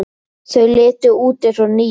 Þau litu út eins og ný.